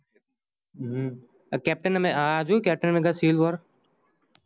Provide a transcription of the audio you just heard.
હમ captain america આ captain america જોયું civil war